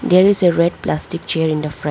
there is a red plastic chair in the front.